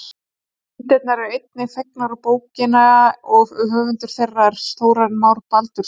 Myndirnar eru einnig fengnar úr bókina og höfundur þeirra er Þórarinn Már Baldursson.